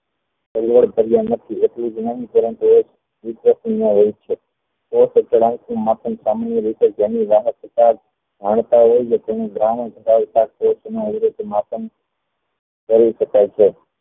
માપન સામાન્ય રીતે તેની માપન કરી શકાય છે